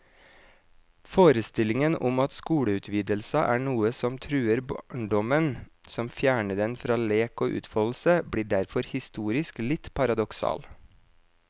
Forestillingen om at skoleutvidelser er noe som truer barndommen, som fjerner den fra lek og utfoldelse, blir derfor historisk litt paradoksal.